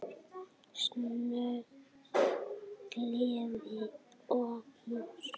Söngur, gleði og knús.